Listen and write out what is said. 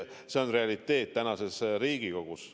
See on realiteet tänases Riigikogus.